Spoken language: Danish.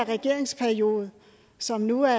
regeringsperiode som nu er